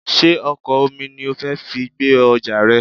Sé ọkọ̀ omi ni o fi fẹ́ gbé ọjà rẹ?